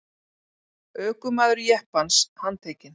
Ökumaður jeppans handtekinn